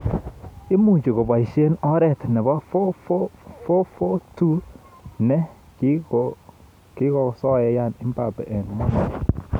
Imuuch koboisye oret nebo 4-4-2 ne kigakosoyan mbappe eng Monaco